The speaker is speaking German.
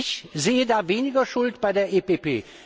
Ich sehe da weniger Schuld bei der EVP.